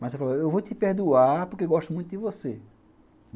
Mas eu falo, eu vou te perdoar porque eu gosto muito de você.